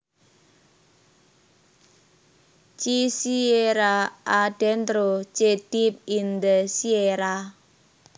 Che Sierra adentro Che Deep in the Sierra